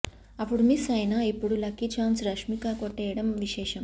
అప్పుడు మిస్ అయినా ఇప్పుడు లక్కీ ఛాన్స్ రష్మిక కొట్టేయడం విశేషం